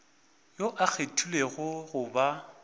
yo a kgethilwego go ba